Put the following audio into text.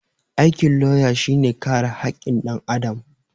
Aikin lauya shi ne kare hakkin ɗan Adam